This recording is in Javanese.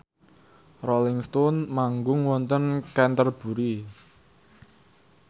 Rolling Stone manggung wonten Canterbury